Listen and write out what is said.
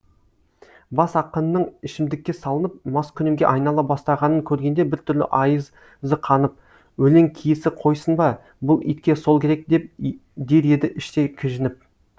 бас ақынның ішімдікке салынып маскүнемге айнала бастағанын көргенде бір түрлі айыз қанып өлең киесі қойсын ба бұл итке сол керек деп дер еді іштей кіжініп